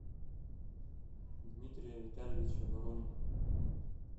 дмитрия витальевича воронина